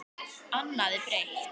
Annað er breytt.